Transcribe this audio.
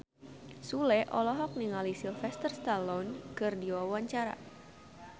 Sule olohok ningali Sylvester Stallone keur diwawancara